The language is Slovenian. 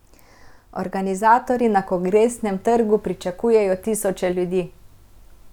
Organizatorji na Kongresnem trgu pričakujejo tisoče ljudi.